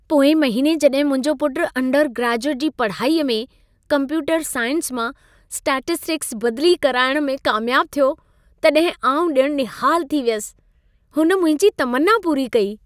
पोएं महिने जॾहिं मुंहिंजो पुटु अंडरग्रेजुएट जी पढ़ाईअ में कंप्यूटर साइंस मां स्टैटिस्टिक्स बदिली कराइण में कामियाबु थियो, तॾहिं आउं ॼणु निहालु थी वियसि। हुन मुंहिंजी तमन्ना पूरी कई।